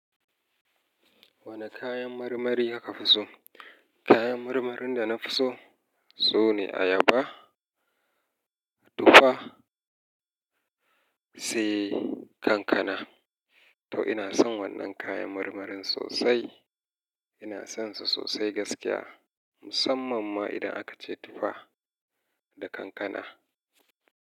Wane kayan marmari aka fi so? Kayan marmarin da na fi so sune ayaba, tufa sai kankana. To ina son wannan kayan marmarin sosai. Ina son su sosai gaskiya. Musamman ma idan aka ce tufa da kankana.